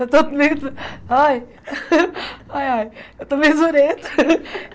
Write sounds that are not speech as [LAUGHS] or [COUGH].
Eu estou meio ai [LAUGHS] ai ai eu estou meio zureta. [LAUGHS]